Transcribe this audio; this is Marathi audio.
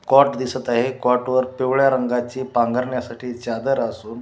कॉट दिसत आहे कॉट वर पिवळ्या रंगाची पांगरण्यासाठी चादर असून--